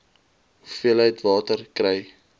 hoeveelheid water kry